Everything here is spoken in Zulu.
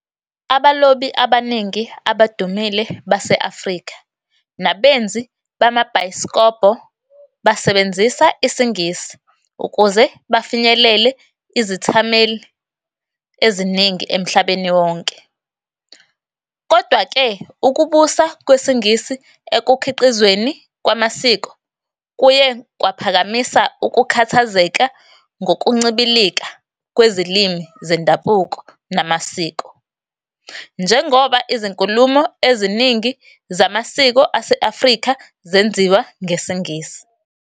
Abalobi abaningi abadumile base-Afrika nabenzi bamabhayisikobho basebenzisa isiNgisi ukuze bafinyelele izethameli eziningi emhlabeni wonke. Kodwa-ke, ukubusa kwesiNgisi ekukhiqizweni kwamasiko kuye kwaphakamisa ukukhathazeka ngokuncibilika kwezilimi zendabuko namasiko, njengoba izinkulumo eziningi zamasiko ase-Afrika zenziwa ngesiNgisi.